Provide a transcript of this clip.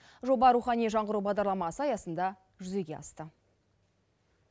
жоба рухани жаңғыру бағдарламасы аясында жүзеге асты